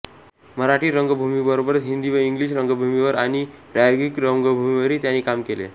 मराठी रंगभूमीबरोबरच हिंदी व इंग्लिश रंगभूमीवर आणि प्रायोगिक रंगभूमीवरही त्यांनी काम केले